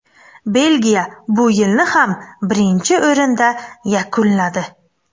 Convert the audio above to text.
Belgiya bu yilni ham birinchi o‘rinda yakunladi.